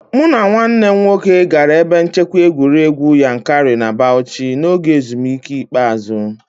Mụ na nwanne m nwoke gara ebe nchekwa egwuregwu Yankari na Bauchi n'oge ezumike ikpeazụ